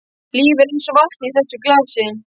Lífið er einsog vatnið í þessu glasi.